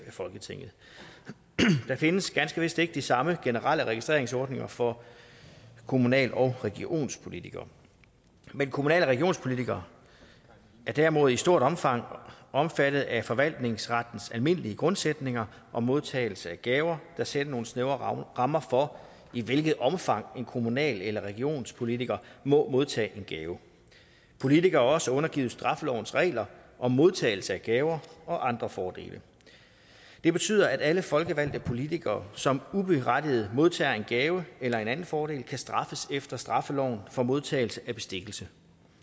af folketinget der findes ganske vist ikke de samme generelle registreringsordninger for kommunal og regionspolitikere men kommunal og regionspolitikere er derimod i et stort omfang omfattet af forvaltningsrettens almindelige grundsætninger om modtagelse af gaver der sætter nogle snævre rammer for i hvilket omfang en kommunal eller regionspolitiker må modtage en gave politikere er også undergivet straffelovens regler om modtagelse af gaver og andre fordele det betyder at alle folkevalgte politikere som uberettiget modtager en gave eller en anden fordel kan straffes efter straffeloven for modtagelse af bestikkelse